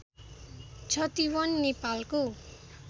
छतिवन नेपालको